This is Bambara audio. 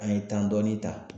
An ye dɔɔni ta.